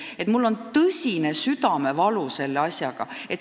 Ma tunnen selle asja pärast suurt südamevalu.